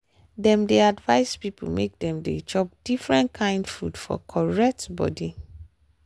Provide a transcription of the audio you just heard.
dem dey advice people make dem dey chop different kain food for correct body.